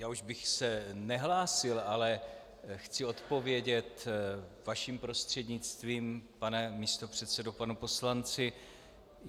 Já už bych se nehlásil, ale chci odpovědět vaším prostřednictvím, pane místopředsedo, panu poslanci.